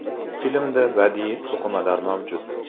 Filmda badiiy to‘qimalar mavjud.